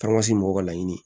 Taamasi mɔgɔw ka laɲini